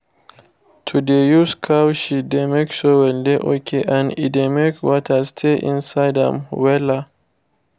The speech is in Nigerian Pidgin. to dey use cow shit dey make soil dey okay and e dey make water stay inside am wella